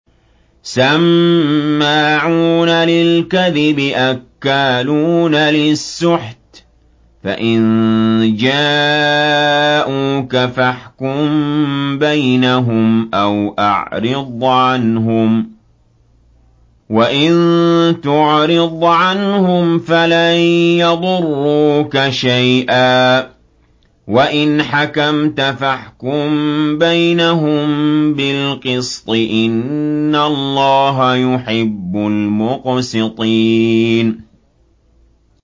سَمَّاعُونَ لِلْكَذِبِ أَكَّالُونَ لِلسُّحْتِ ۚ فَإِن جَاءُوكَ فَاحْكُم بَيْنَهُمْ أَوْ أَعْرِضْ عَنْهُمْ ۖ وَإِن تُعْرِضْ عَنْهُمْ فَلَن يَضُرُّوكَ شَيْئًا ۖ وَإِنْ حَكَمْتَ فَاحْكُم بَيْنَهُم بِالْقِسْطِ ۚ إِنَّ اللَّهَ يُحِبُّ الْمُقْسِطِينَ